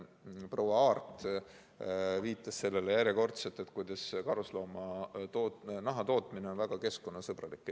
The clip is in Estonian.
Proua Aart viitas järjekordselt sellele, et karusnaha tootmine on väga keskkonnasõbralik.